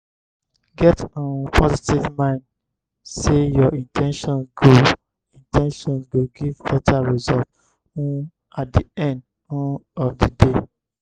get um positive mind sey your in ten tions go in ten tions go give better result um at di end um of di day